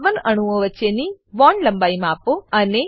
carbon અણુઓ વચ્ચેની bond લંબાઈ માપો